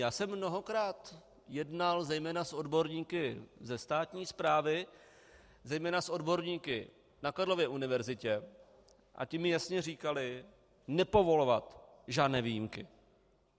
Já jsem mnohokrát jednal zejména s odborníky ze státní správy, zejména s odborníky na Karlově univerzitě a ti mi jasně říkali: nepovolovat žádné výjimky.